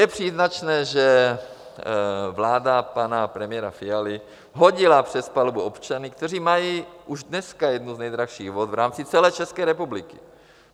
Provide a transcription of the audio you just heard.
Je příznačné, že vláda pana premiéra Fialy hodila přes palubu občany, kteří mají už dneska jednu z nejdražších vod v rámci celé České republiky.